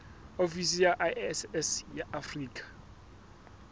ofisi ya iss ya afrika